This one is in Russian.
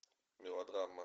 мелодрама